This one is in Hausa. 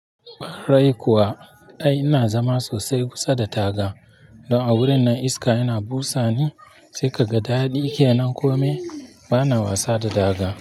Ƙwa rai kuwa. Ai ina zama sosai kusa da taga. Don a wurin nan iska yana busa ni sai ka ga daɗi ke nan. Kome bana wasa da taga.